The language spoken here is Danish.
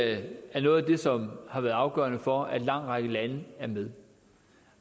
er noget af det som har været afgørende for at en lang række lande er med